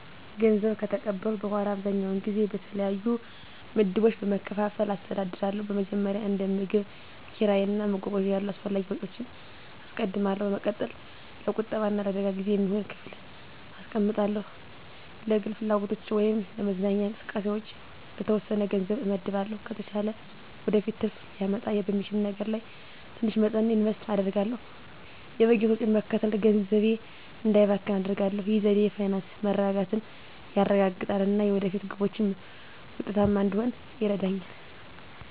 ገንዘብ ከተቀበልኩ በኋላ, አብዛኛውን ጊዜ በተለያዩ ምድቦች በመከፋፈል አስተዳድራለሁ. በመጀመሪያ፣ እንደ ምግብ፣ ኪራይ እና መጓጓዣ ያሉ አስፈላጊ ወጪዎችን አስቀድማለሁ። በመቀጠል፣ ለቁጠባ እና ለአደጋ ጊዜ የሚሆን ክፍል አስቀምጣለሁ። ለግል ፍላጎቶች ወይም ለመዝናኛ እንቅስቃሴዎች የተወሰነ ገንዘብ እመድባለሁ። ከተቻለ ወደፊት ትርፍ ሊያመጣ በሚችል ነገር ላይ ትንሽ መጠን ኢንቨስት አደርጋለሁ። የበጀት ወጪን መከተል ገንዘቤ እንዳይባክን አደርጋሁ። ይህ ዘዴ የፋይናንስ መረጋጋትን ያረጋግጣል እና የወደፊት ግቦችን ውጤታማ እንድሆን ይረዳኛል.